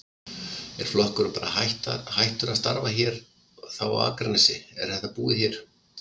Er flokkurinn bara hættur að starfa hér þá á Akranesi, er þetta búið hér?